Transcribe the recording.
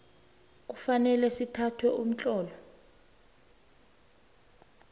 kufanele sithathe umtlolo